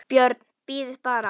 BJÖRN: Bíðið bara!